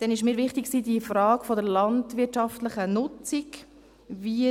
Weiter war mir die Frage der landwirtschaftlichen Nutzung wichtig: